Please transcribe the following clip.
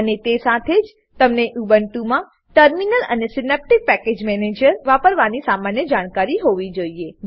અને તે સાથે જ તમને ઉબુન્ટુમાં ટર્મિનલ ટર્મિનલ અને Synaptic package manager Synaptic package manager વાપરવાની સામાન્ય જાણકારી હોવી જોઈએ